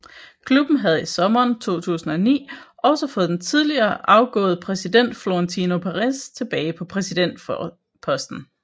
Klubben havde i sommeren 2009 også fået den tidligere afgået præsident Florentino Perez tilbage på præsidentposten